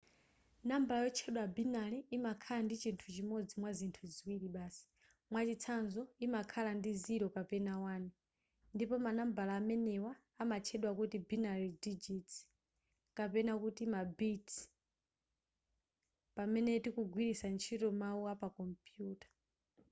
nambala yotchedwa binary imakhala ndi chinthu chimodzi mwazinthu ziwiri basi mwachitsanzo imakhala ndi 0 kapena 1 ndipo manambala amenewa amatchedwa kuti binary digits kapena kuti ma bit pamene tikugwilitsa ntchito mawu apakompuyuta